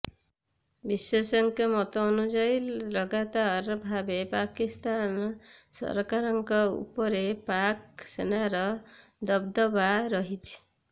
ବିଶେଷଜ୍ଞଙ୍କ ମତ ଅନୁଯାୟୀ ଲଗାତର ଭାବେ ପାକିସ୍ତାନ ସରକାରଙ୍କ ଉପରେ ପାକ୍ ସେନାର ଦବଦବା ରହିଛି